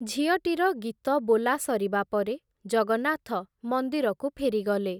ଝିଅଟିର ଗୀତ ବୋଲା ସରିବା ପରେ, ଜଗନ୍ନାଥ ମନ୍ଦିରକୁ ଫେରିଗଲେ ।